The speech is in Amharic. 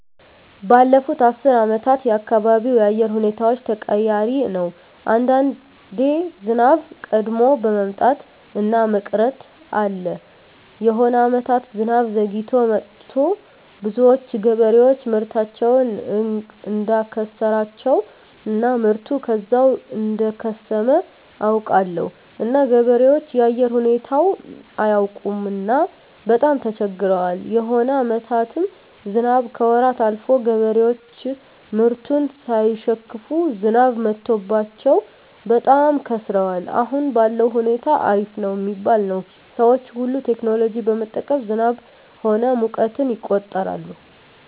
ባለፋት አስር አመታት የአካባቢው የአየር ሁኔታዎች ተቀያሪ ነው አንዳንዴ ዝናብ ቀድሞ መምጣት እና መቅረት አለ የሆነ አመታት ዝናብ ዘግይቶ መጥቱ ብዙዎች ገበሬዎች ምርታቸውን እዳከሰራቸው እና ምርቱ ከዛው እደከሰመ አውቃለሁ እና ገበሬዎች የአየር ሁኔታው አያውቅምና በጣም ተቸግረዋል የሆነ አመታትም ዝናብ ከወራት አልፎ ገበሬዎች ምርቱን ሳይሸክፋ ዝናብ መትቶባቸው በጣም ከስረዋል አሁን ባለዉ ሁኔታ አሪፍ ነው ሚባል ነው ሰዎች ሁሉ ቴክኖሎጂ በመጠቀም ዝናብ ሆነ ሙቀትን ይቆጠራል